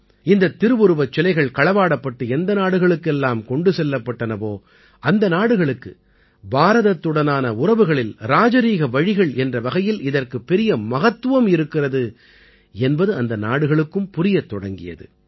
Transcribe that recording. இந்தத் திருவுருவச் சிலைகள் களவாடப்பட்டு எந்த நாடுகளுக்கு எல்லாம் கொண்டு செல்லப்பட்டனவோ அந்த நாடுகளுக்கு பாரதத்துடனான உறவுகளில் ராஜரீக வழிகள் என்ற வகையில் இதற்கு பெரிய மகத்துவம் இருக்கிறது என்பது அந்த நாடுகளுக்கும் புரியத் தொடங்கியது